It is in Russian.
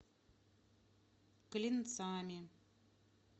клинцами